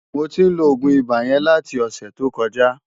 Mó tin ló ógún ibá yèn láti osè to kòjá